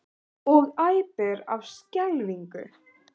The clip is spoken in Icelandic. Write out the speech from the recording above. Og æpir af skelfingu.